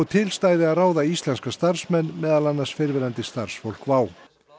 til stæði að ráða íslenska starfsmenn meðal annars fyrrverandi starfsfólk WOW